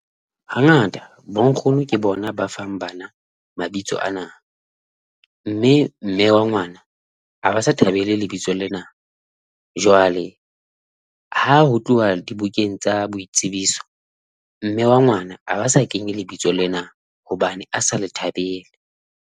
Hangata bonkgono ke bona ba fang bana mabitso ana, mme mme wa ngwana a ba sa thabele lebitso lena. Jwale ha ho tloha dibukeng tsa boitsebiso mme wa ngwana a ba sa kenye lebitso lena hobane a sa le thabele.